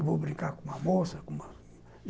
Eu vou brincar com uma moça.